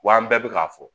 Wa an bɛɛ bɛ k'a fɔ